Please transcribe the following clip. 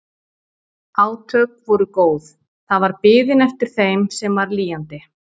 Átök voru góð, það var biðin eftir þeim sem var lýjandi.